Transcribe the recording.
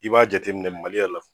I b'a jateminɛ mali yɛrɛ la